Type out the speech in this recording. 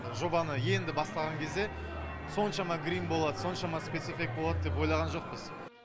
жобаны енді бастаған кезде соншама грим болады соншама спецэффект болады деп ойлаған жоқпыз